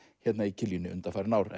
undanfarin ár